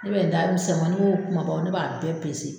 Ne bɛ da misɛnmanin o kumaba o ne b'a bɛɛ